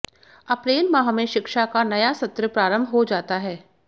अप्रैल माह में शिक्षा का नया सत्र प्रारंभ हो जाता है